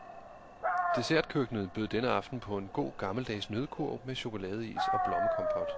Dessertkøkkenet bød denne aften på en god, gammeldags nøddekurv med chokoladeis og blommekompot.